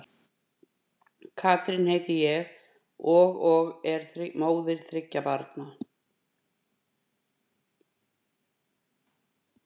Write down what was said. Katrín heiti ég og og er móðir þriggja barna.